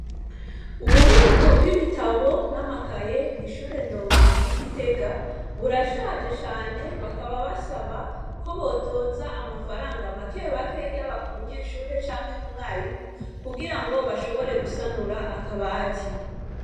Ububiko bw'ibitabo n'amakaye kw'ishure ndongozi y'igitega burashaje cane bakaba basaba ko botoza amafaranga makebake yaba ku munyeshuri canke kumwarimu kugira ngo bashobore gusanura akabati.